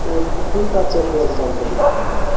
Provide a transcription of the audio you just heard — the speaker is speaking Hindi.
एचपी का पेट्रोल पंप दिख रहा है।